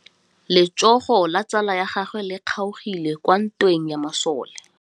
Letsôgô la tsala ya gagwe le kgaogile kwa ntweng ya masole.